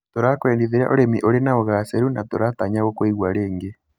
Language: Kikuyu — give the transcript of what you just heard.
Tũrakũendithĩria ũrĩmi ũrĩ na ũgaacĩru na tũratanya gũkũigua rĩngĩ.